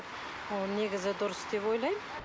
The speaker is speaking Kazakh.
оны негізі дұрыс деп ойлаймын